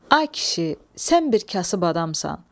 Ay kişi, sən bir kasıb adamsan.